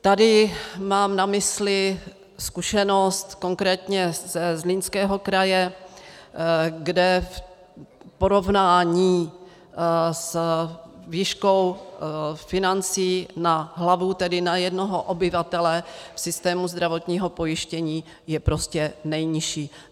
Tady mám na mysli zkušenost konkrétně ze Zlínského kraje, kde v porovnání s výškou financí na hlavu, tedy na jednoho obyvatele v systému zdravotního pojištění, je prostě nejnižší.